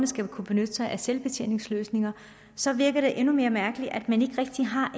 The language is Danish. skal kunne benytte sig af selvbetjeningsløsninger så virker det endnu mere mærkeligt at man ikke rigtig har